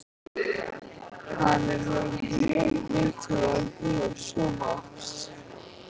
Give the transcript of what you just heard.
Hann er með mjög vinsælan sjónvarps